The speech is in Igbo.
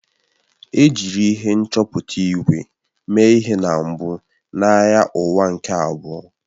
E jiri ihe nchọpụta ígwè mee ihe na mbụ na Agha Ụwa nke Abụọ